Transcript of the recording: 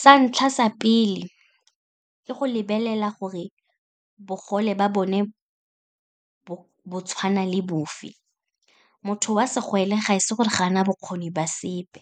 Sa ntlha, sa pele ke go lebelela gore bogole ba bone bo tshwana le bofe. Motho wa segole ga e se gore ga ana bokgoni ba sepe,